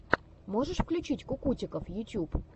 можешь включить кукутиков ютьюб